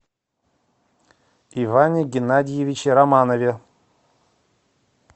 иване геннадьевиче романове